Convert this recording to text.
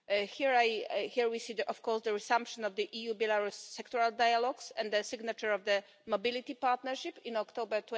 Here we see, of course, the resumption of the EU-Belarus sectoral dialogues and the signature of the Mobility Partnership in October